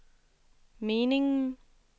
meningen